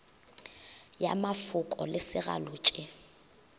ya mafoko le segalo tše